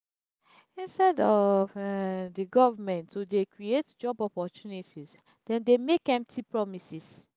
instead of the government to dey create job opportunities dem dey make empty promises